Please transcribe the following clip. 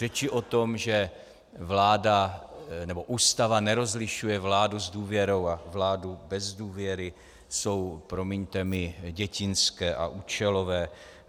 Řeči o tom, že Ústava nerozlišuje vládu s důvěrou a vládu bez důvěry, jsou, promiňte mi, dětinské a účelové.